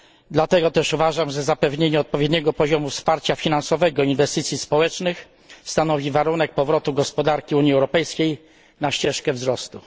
Dlatego też uważam, że zapewnienie odpowiedniego poziomu wsparcia finansowego inwestycji społecznych stanowi warunek powrotu gospodarki Unii Europejskiej na ścieżkę wzrostu.